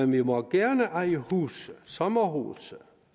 vi må gerne eje huse sommerhuse